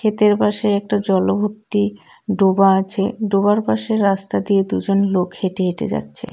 ক্ষেতের পাশে একটা জলভর্তি ডোবা আছে ডোবার পাশে রাস্তা দিয়ে দুজন লোক হেঁটে হেঁটে যাচ্ছে.